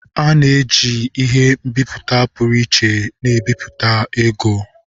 A na-eji ihe nbiputa pụrụ iche na-ebipụta ego.